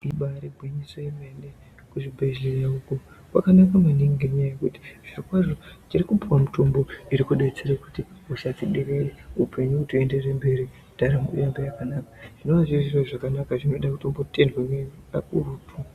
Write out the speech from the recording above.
Ibaari gwinyiso yemene, kuzvibhedhleya uku, kwakanaka maningi ngenyaya yekuti, zvirokwazvo tiri kupuwa mitombo iri kudetsere kuti hosha dziderere, upenyu hutoenda mberi, ndaramo iite zvakanaka .Ndozviro zvakanaka zvinoda kutombotendwa